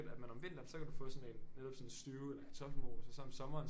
At man om vinteren så kan du få sådan en netop sådan en stew eller kartoffelmos og så om sommeren